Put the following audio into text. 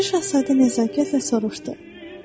Balaca Şahzadə nəzakətlə soruşdu: